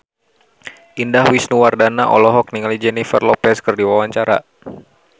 Indah Wisnuwardana olohok ningali Jennifer Lopez keur diwawancara